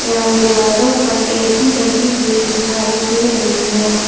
उन दिवालो पर ऐ सी लगी हुई दिखाई दे रही है।